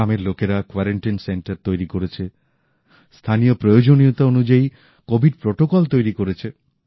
গ্রামের লোকেরা quarantine centre তৈরি করেছে স্থানীয় প্রয়োজনীয়তা অনুযায়ী কোভিড বিধি তৈরি করেছে